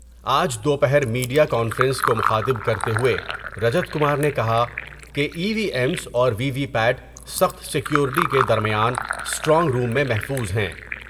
آج دو پہر میڈیا کانفرنس کو مخاطب کرتے ہوۓ رجت کمار نے کہا کہ ای وی ایمس اور وی وی پیاٹ سخت سیکور بیٹی کے درمیان اسٹرانگ روم میں محفوظ ہیں ۔